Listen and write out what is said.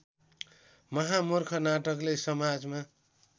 महामुर्ख नाटकले समाजमा